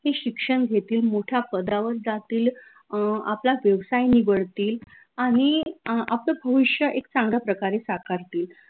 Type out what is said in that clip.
ही शिक्षन घेतील मोठ्या पदावर जातील अं आपला व्यवसाय निवडतील आनि अं आपलं भविष्य एक चांगल्या प्रकारे साकारतील